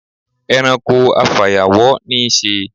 E̩ranko afàyàwó̩ ní í s̩e.